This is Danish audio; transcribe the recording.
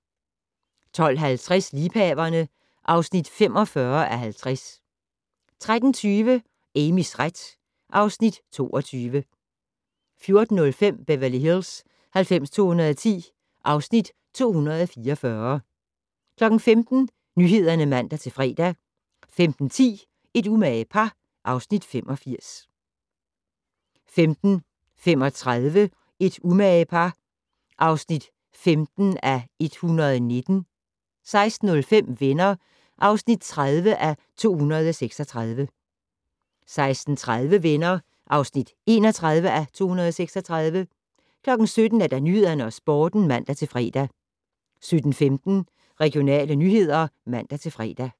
12:50: Liebhaverne (45:50) 13:20: Amys ret (Afs. 22) 14:05: Beverly Hills 90210 (Afs. 244) 15:00: Nyhederne (man-fre) 15:10: Et umage par (Afs. 85) 15:35: Et umage par (15:119) 16:05: Venner (30:236) 16:30: Venner (31:236) 17:00: Nyhederne og Sporten (man-fre) 17:15: Regionale nyheder (man-fre)